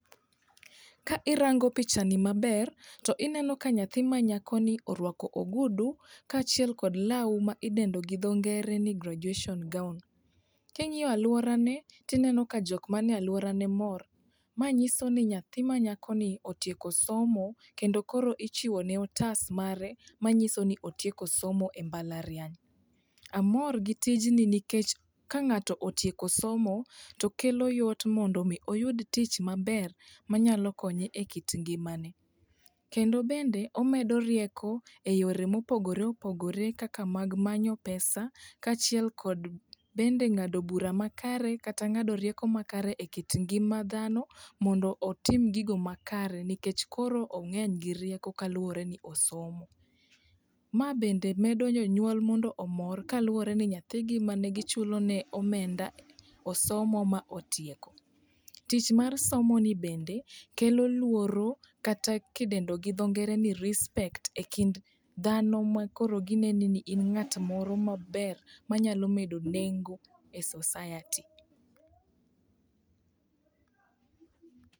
Ka irango pichani maber to ineno ka nyathi manyako ni orwako ogudu kaachiel kod law ma idendo gi dho ngere ni graduation gown. King'iyo alworane tineno ka jokmanie alworane mor, mae nyiso ni nyathi manyako ni otieko somo kendo koro ichiwone otas mare manyiso ni otieko somo e mbalariany. Amor gi tijni nikech ka ng'ato otieko somo, to kelo yot mondo omi oyud tich maber manyalo konye e kit ngimane. Kendo bende omedo rieko e yore mopogore opogore kaka mag manyo pesa kaachiel kod bende ng'ado bura makare kata ng'ado rieko makare e kit ngima ndano mondo otim gigo makare nikech koro ong'eny gi rieko kaluwore ni osomo. Ma bende medo jonyuol mondo omor kaluwore ni nyathigi ma negichulone omenda osomo ma otieko. Tich mar somoni bende kelo luoro kata kidendo gi dho ngere ni respect e kind dhano makoro gineni ni in ng'at moro maber manyalo medo nengo e society.